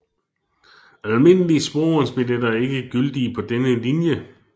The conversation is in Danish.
Almindelige sporvognsbilletter er ikke gyldige på denne linje